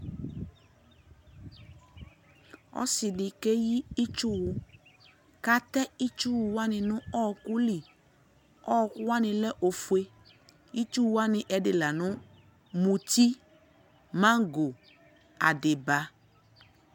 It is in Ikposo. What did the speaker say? ɔsiidi kɛyi itsʋwʋ kʋ atɛ itsʋwʋ wani nʋ ɔkʋli, ɔkʋ wani lɛ ɔƒʋɛ, itsʋ wani ɛdi lanʋ mʋti, mangɔ, adiba